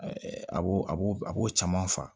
a b'o a b'o a b'o caman fa